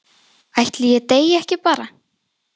Ætli ég deyi ekki bara?